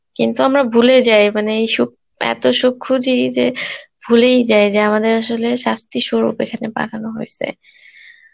কিন্তু আমরা ভুলে যাই মানে এই সুখ, এত সুখ খুঁজি যে ভুলেই যাই যে আমাদের আসলে শাস্তি স্বরূপ এখানে পাঠানো হয়েছে